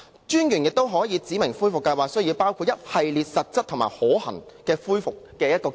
專員亦可指明恢復計劃需要包括一系列實質及可行的恢復方案。